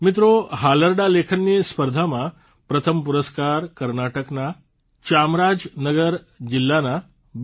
મિત્રો હાલરડા લેખનની સ્પર્ધામાં પ્રથમ પુરસ્કાર કર્ણાટકના ચામરાજ નગર જિલ્લાના બી